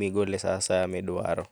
migole saa asaya midwaro